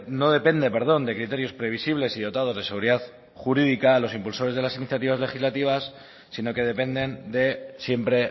no depende de criterios previsibles y dotados de seguridad jurídica los impulsores de las iniciativas legislativas sino que dependen de siempre